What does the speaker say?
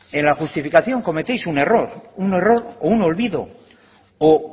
en la justificación cometéis un error un error o un olvido o